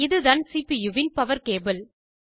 இதுதான் சிபியூவின் power cable